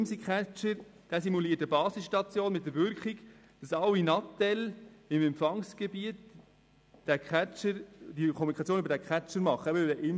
Der Imsi-Catcher simuliert eine Basisstation mit der Wirkung, dass Handys in seinem Empfangsgebiet die Kommunikation über diesen Catcher abwickeln.